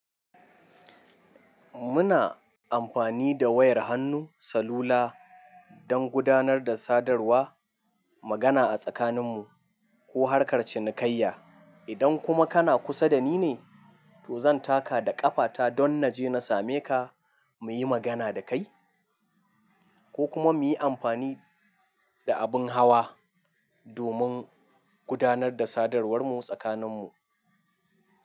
Muna amfani da wayar hannu, salula don gudanar da sadarwa, magana a tsakanin mu ko harkar cinikayya. Idan kuma kana kusa da ni ne, to zan taka da ƙafata don na je na same ka mu yi magana da kai ko kuma mu yi amfani da abin hawa domin gudanar da sadawar mu tsakanin mu.